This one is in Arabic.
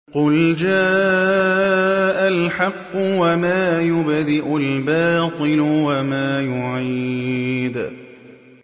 قُلْ جَاءَ الْحَقُّ وَمَا يُبْدِئُ الْبَاطِلُ وَمَا يُعِيدُ